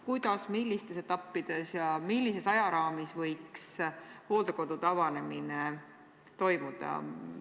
Kuidas, millistes etappides ja millises ajaraamis võiks hooldekodude avanemine toimuda?